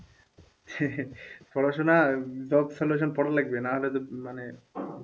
পড়াশোনা job solution পড়া লাগবে নাহলে তো মানে